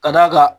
Ka d'a kan